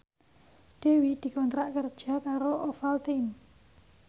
Dewi dikontrak kerja karo Ovaltine